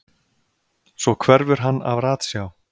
Svo hverfur hann af ratsjá.